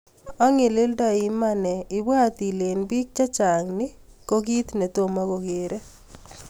Angilildai Iman eeh...ibwat ilee eng piik chechang nii ko kiit netomo kokeree